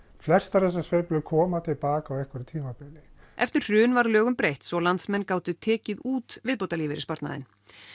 flestar þessar sveiflur koma til baka á einhverju tímabili eftir hrun var lögum breytt svo landsmenn gátu tekið út viðbótarlífeyrissparnaðinn